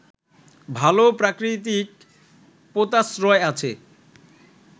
ভাল প্রাকৃতিক পোতাশ্রয় আছে